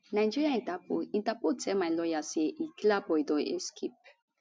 nigeria interpol interpol tell my lawyer say e killaboi don escape